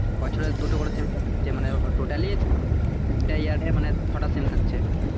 বছরে দুটো করে semester হচ্ছে, totaly তিনটা year এ ছটা sem থাকছে।